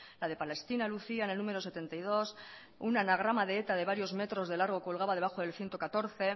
la de palestina lucía en el número setenta y dos un anagrama de eta de varios metros de largo colgaba debajo del ciento catorce